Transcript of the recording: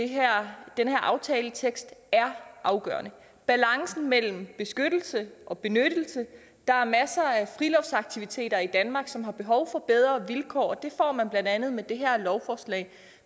her aftaletekst er afgørende balancen mellem beskyttelse og benyttelse der er masser af friluftsaktiviteter i danmark som har behov for bedre vilkår og det får man blandt andet med det her lovforslag